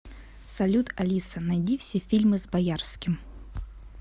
салют алиса найди все фильмы с боярским